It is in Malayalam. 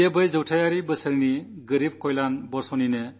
അത് ദരിദ്രക്ഷേമ വർഷത്തിന്റെ തന്നെ പ്രതീകാത്മകരൂപമാണ്